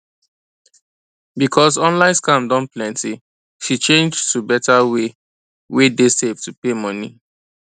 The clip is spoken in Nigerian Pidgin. because online scam don plenty she change to better way wey dey safe to pay money